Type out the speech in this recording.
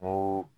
N ko